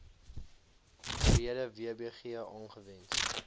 breede wbg aangewend